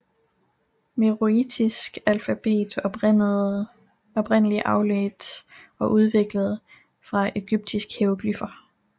Meroitisk alfabet var oprindelig afledt og udviklet fra egyptiske hieroglyfer